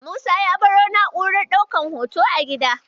Musa ya baro na'urar ɗaukan hoton a gida.